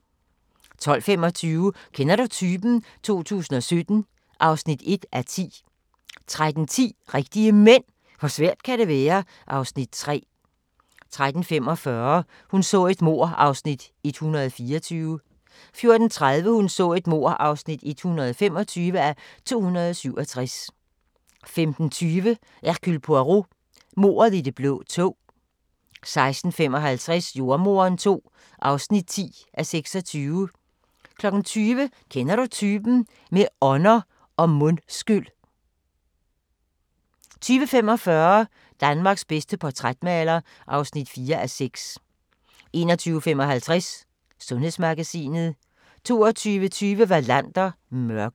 12:25: Kender du typen? 2017 (1:10) 13:10: Rigtige Mænd – hvor svært kan det være? (Afs. 3) 13:45: Hun så et mord (124:267) 14:30: Hun så et mord (125:267) 15:20: Hercule Poirot: Mordet i det blå tog 16:55: Jordemoderen II (10:26) 20:00: Kender du typen? – med ånder og mundskyl 20:45: Danmarks bedste portrætmaler (4:6) 21:55: Sundhedsmagasinet 22:20: Wallander: Mørket